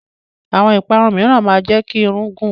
Àwọn ìparun mìíràn máa ń jẹ́ kí irun gùn.